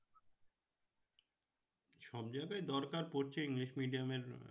সব জায়গায় দরকার পড়ছে english medium এর